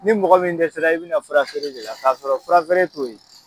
Ni mɔgɔ min dɛɛera, i bɛna fura feere de la k'a sɔrɔ fura feere t'o ye.